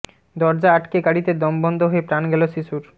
দরজা আটকে গাড়িতে দম বন্ধ হয়ে প্রাণ গেল শিশুর